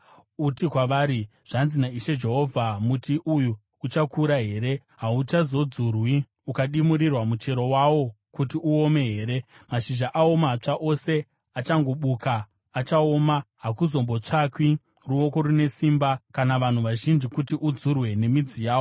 “Uti kwavari, ‘Zvanzi naIshe Jehovha: Muti uyu uchakura here? Hauchazodzurwi ukadimurirwa muchero wawo kuti uome here? Mashizha awo matsva ose achangobukira achaoma. Hakuzombotsvakwi ruoko rune simba kana vanhu vazhinji kuti udzurwe nemidzi yawo.